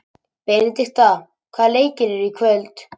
Benidikta, hvaða leikir eru í kvöld?